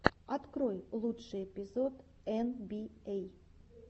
открой лучший эпизод эн би эй